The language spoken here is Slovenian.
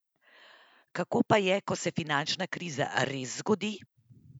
Kako pa je, ko se finančna kriza res zgodi?